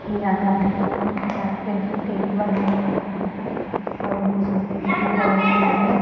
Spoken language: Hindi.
यहाँ पे यहाँ पे स्टेज बना हुआ है और ऊंची सीढ़ी लगा हुआ है ।